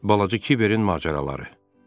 Balaca Kiberin macəraları.